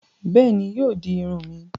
Béèni, yóò di Irun mi.